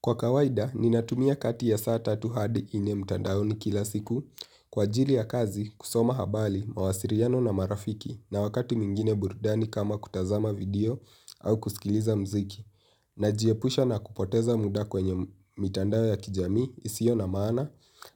Kwa kawaida natumia kati ya saa tatu hadi nne mtandaoni kila siku. Kwa ajili ya kazi, kusoma habari mawasiliano na marafiki na wakati mwingine burudani kama kutazama video au kusikiliza mziki. Najiepusha na kupoteza muda kwenye mitandao ya kijamii isiyo na maana